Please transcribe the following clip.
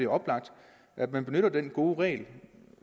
oplagt at man benytter den gode regel